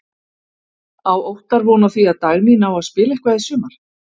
Á Óttar von á því að Dagný nái að spila eitthvað í sumar?